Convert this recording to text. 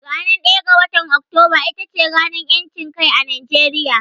Ranar ɗaya ga watar Oktoba ita ce ranar ƴancin kai a Najeriya.